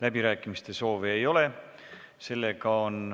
Läbirääkimiste soovi ei ole.